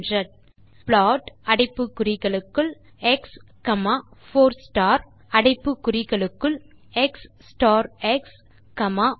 பின் type plot அடைப்பு குறிகளுக்குள் x 4 star அடைப்பு குறிகளுக்குள் எக்ஸ் ஸ்டார் எக்ஸ் ப்